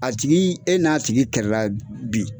A tigi e n'a tigi kɛlɛla bi